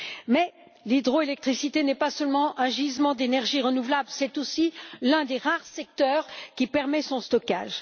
Mais l'hydroélectricité n'est pas seulement un gisement d'énergie renouvelable, c'est aussi l'un des rares secteurs qui permet le stockage.